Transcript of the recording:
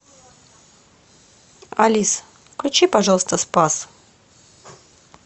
алиса включи пожалуйста спас